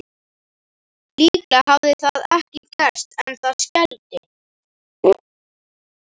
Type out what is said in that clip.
Líklega hafði það ekki gerst en það skelfdi